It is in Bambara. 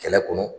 Kɛlɛ kɔnɔ